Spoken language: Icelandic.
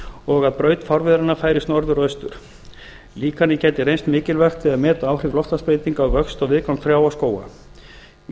og að braut fárviðranna færist norðar og austar líkanið gæti reynst mikilvægt við að meta áhrif loftslagsbreytinga á vöxt og viðgang trjáa og skóga í